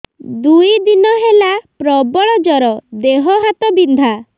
ଦୁଇ ଦିନ ହେଲା ପ୍ରବଳ ଜର ଦେହ ହାତ ବିନ୍ଧା